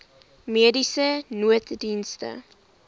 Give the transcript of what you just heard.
mediese nooddienste